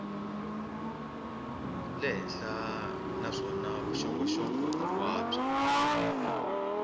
le henhla naswona vuxokoxoko hinkwabyo